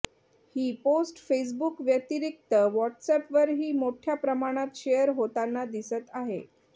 ही post Facebook व्यतिरिक्त व्हॉट्सअॅपवरही मोठ्या प्रमाणात शेअर होताना दिसत आहे